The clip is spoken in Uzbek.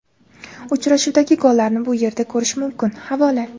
Uchrashuvdagi gollarni bu yerda ko‘rish mumkin → havola .